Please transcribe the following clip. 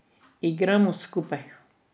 Igramo skupaj.